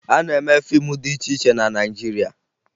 A na-eme fiimu dị iche iche na Naịjirịa